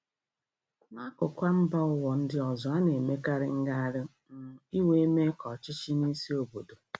N'akụkụ mba ụwa ndị ọzọ, ana-emekarị ngagharị um iwe maka ọchịchị n'isi obodo.